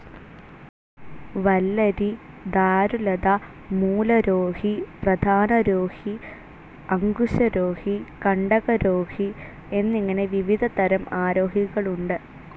വല്ലരി, ധാരുലത, മൂലരോഹി, പ്രധാനരോഹി, അങ്കുശരോഹി, കണ്ടകരോഹി എന്നിങ്ങനെ വിവിധ തരം ആരോഹികൾ ഉണ്ട്.